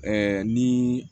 ni